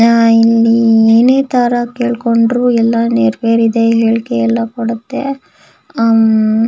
ಆಹ್ಹ್ ಇಲ್ಲಿ ಏನೆ ತರ ಕೇಳ್ಕೊಂಡ್ರು ಎಲ್ಲ ನೀರ್ ಬೇರೆ ಇದೆ ಹೇಳ್ಕೆ ಎಲ್ಲ ಕೊಡುತ್ತೆ ಅಮ್--